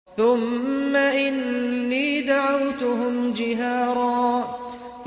ثُمَّ إِنِّي دَعَوْتُهُمْ جِهَارًا